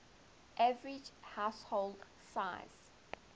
average household size